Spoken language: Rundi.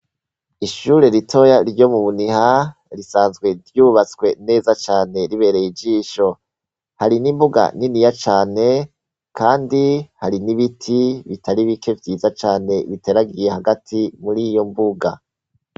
Ishuri ritoyi ryo mu Muniha risanzwe ryubatswe neza cane ribereye ijisho, hari n'imbuga niniya cane kandi hari n'ibiti bitari bike vyiza cane biteragiye hagati muriyo mbuga.